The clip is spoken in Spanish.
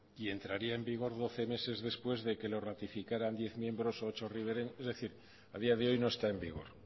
y entraría en vigor doce meses después de lo que lo ratificaran diez miembros ocho ribereños en fin a día de hoy no está en vigor